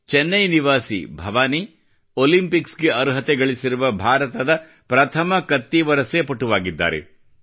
ಚೆನ್ನೈ ನಿವಾಸಿ ಭವಾನಿ ಒಲಿಂಪಿಕ್ ಗೆ ಅರ್ಹತೆಗಳಿಸಿರುವ ಭಾರತದ ಪ್ರಥಮ ಕತ್ತಿವರಸೆ ಪಟುವಾಗಿದ್ದಾರೆ